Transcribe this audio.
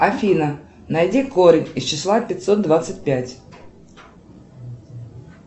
афина найди корень из числа пятьсот двадцать пять